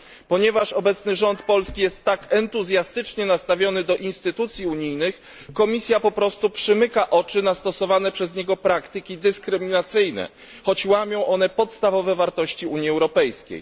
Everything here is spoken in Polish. Ponieważ obecny rząd polski jest tak entuzjastycznie nastawiony do instytucji unijnych, Komisja po prostu przymyka oczy na stosowane przez niego praktyki dyskryminacyjne, choć łamią one podstawowe wartości Unii Europejskiej.